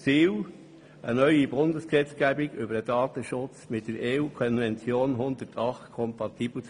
Das Ziel ist eine neue Bundesgesetzgebung über den Datenschutz, die mit der EU-Konvention 108 kompatibel ist.